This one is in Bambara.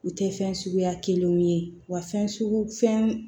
U tɛ fɛn suguya kelenw ye wa fɛn sugu fɛn